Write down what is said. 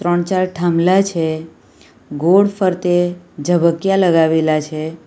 ત્રણ ચાર થાંભલા છે ગોળ ફરતે ઝબકીયા લગાવેલા છે.